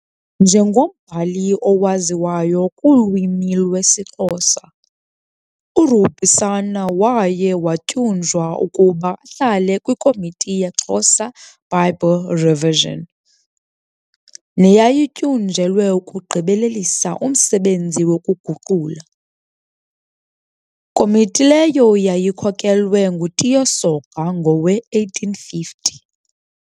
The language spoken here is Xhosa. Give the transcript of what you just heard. Njengombhali owaziwayo kulwimi lwesiXhosa, uRubusana waye watyunjwa ukuba ahlale kwiKomiti yeXhosa Bible Revision, neyayityunjelwe ukugqibelelisa umsebenzi wokuguqula, komiti leyo yayikhokelwe nguTiyo Soga ngowe-1850.